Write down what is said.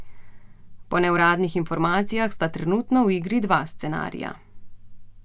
Po neuradnih informacijah sta trenutno v igri dva scenarija.